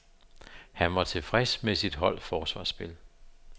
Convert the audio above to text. Han var tilfreds med sit holds forsvarsspil.